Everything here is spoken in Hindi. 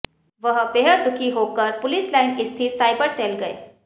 वह बेहद दुखी होकर पुलिस लाइन स्थित साइबर सेल गए